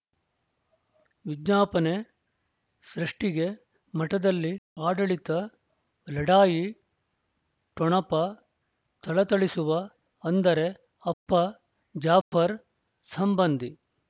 ವಿಜ್ಞಾಪನೆ ಸೃಷ್ಟಿಗೆ ಮಠದಲ್ಲಿ ಆಡಳಿತ ಲಢಾಯಿ ಠೊಣಪ ಥಳಥಳಿಸುವ ಅಂದರೆ ಅಪ್ಪ ಜಾಫರ್ ಸಂಬಂಧಿ